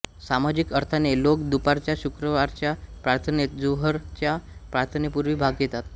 सामाजिक अर्थाने लोक दुपारच्या शुक्रवारच्या प्रार्थनेत जुहरच्या प्रार्थनेपूर्वी भाग घेतात